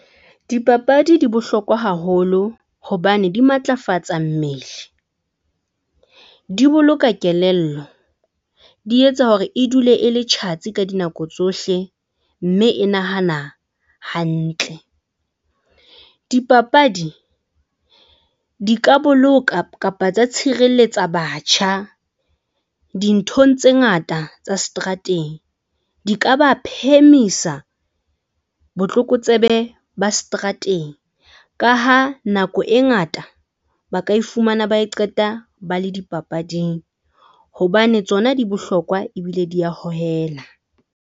Dipapadi di bohlokwa haholo hobane di matlafatsa mmele, di boloka kelello, di etsa hore e dule e le tjhatsi ka dinako tsohle mme e nahana hantle. Dipapadi di ka boloka kapa tsa tshireletsa batjha dinthong tse ngata tsa seterateng, di ka ba phemisa botlokotsebe ba seterateng ka ha nako e ngata ba ka ifumana, ba e qeta ba le dipapading hobane tsona di bohlokwa ebile di a hohela.